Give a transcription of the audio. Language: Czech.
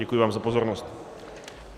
Děkuji vám za pozornost.